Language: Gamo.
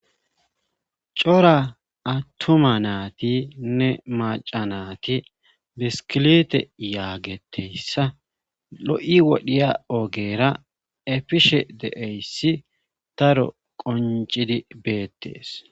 cora attoma naati nne macanati beskilite yaageteyssa lo7i wodhiya oogera efishe de7eyssi daro qoncidi beettees